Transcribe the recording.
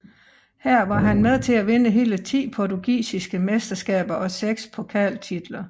Her var han med til at vinde hele ti portugisiske mesteskaber og seks pokaltitler